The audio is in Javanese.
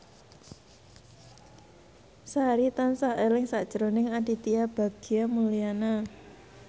Sari tansah eling sakjroning Aditya Bagja Mulyana